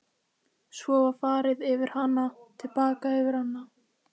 Svo var farið með hana til baka yfir ána.